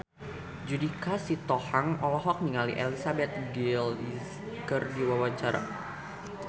Judika Sitohang olohok ningali Elizabeth Gillies keur diwawancara